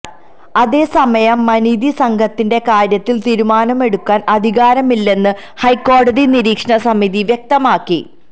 അതേസമയം മനിതി സംഘത്തിന്റെ കാര്യത്തില് തീരുമാനമെടുക്കാന് അധികാരമില്ലെന്ന് ഹൈക്കോടതി നിരീക്ഷണ സമിതി വ്യക്തമാക്കി